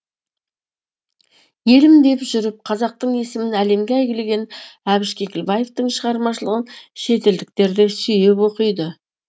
елім деп жүріп қазақтың есімін әлемге әйгілеген әбіш кекілбаевтың шығармашылығын шетелдіктер де сүйіп оқиды